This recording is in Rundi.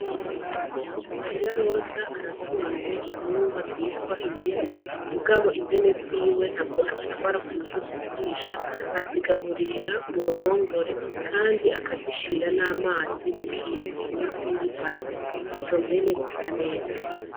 MARIYA ROZA aratunze intungwa zitwa impene mugabo mpene ziwe ntabwo azitwara kumusozi kurisha azigaburirira mu ruhungore kandi akazishira n' amazi mu kintu kimeze nki base izo mpene zisa neza.